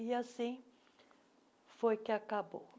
E assim, foi que acabou.